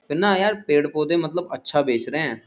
बिन्ना यार पेड़-पोधे मतलब अच्छा बेच रहे है।